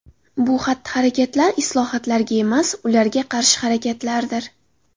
Bu xatti-harakatlar islohotlarga emas, ularga qarshi harakatlardir.